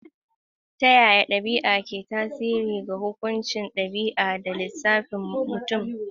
Ta yaya ɗabi'a ke tasiri ga hukuncin ɗabi'a da lissafin mutum ɗaya?